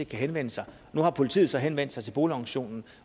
kan henvende sig nu har politiet så henvendt sig til boligorganisationen